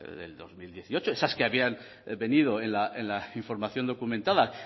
del dos mil dieciocho esas que habían venido en la información documentada